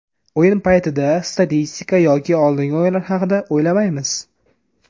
O‘yin paytida statistika yoki oldingi o‘yinlar haqida o‘ylamaymiz.